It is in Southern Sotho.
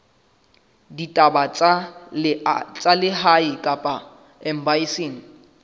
ditaba tsa lehae kapa embasing